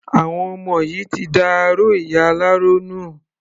Àwọn ọmọ yìí ti da aró ìyá aláró nù.